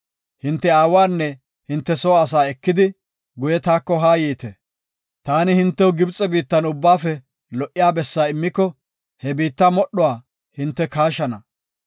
Hinte aawanne hinte soo asa ekidi, guye taako haa yiite. Taani hintew Gibxe biittan ubbaafe lo77iya bessa immiko, he biitta modhuwa hinte kaashana.